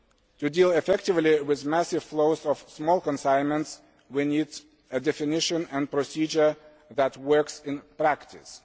To deal effectively with massive flows of small consignments we need a definition and procedure that works in practice.